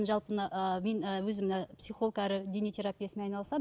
жалпы мына ы мен ы өзім мына ы психолог әрі дене терапевтімен айналысамын